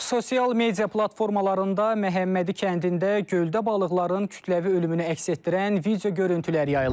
Sosial media platformalarında Məhəmmədi kəndində göldə balıqların kütləvi ölümünü əks etdirən video görüntülər yayılıb.